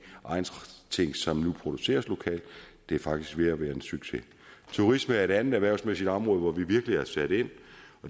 egnsting som nu produceres lokalt det er faktisk ved at være en succes turisme er et andet erhvervsmæssigt område hvor vi virkelig har sat ind